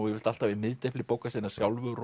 yfirleitt alltaf í miðdepli bóka sinna sjálfur